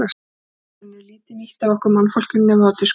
Reyniberin eru lítið nýtt af okkur mannfólkinu, nema þá til skrauts.